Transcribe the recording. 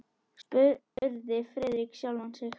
spurði Friðrik sjálfan sig.